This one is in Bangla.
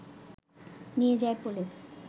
নিয়ে যায় পুলিশ